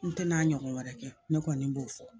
N tɛna ɲɔgɔn wɛrɛ kɛ ne kɔni b'o fɔ